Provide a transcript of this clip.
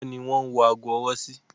Ọwọ́ ni wọ́n ń wọ ago ọwọ́ sí.